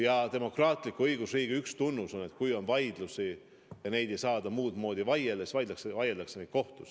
Ja demokraatliku õigusriigi üks tunnus on, et kui on vaidlusi ja neid ei saada muud moodi vaielda, siis vaieldakse kohtus.